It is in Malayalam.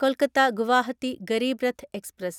കൊൽക്കത്ത ഗുവാഹത്തി ഗരീബ് രത്ത് എക്സ്പ്രസ്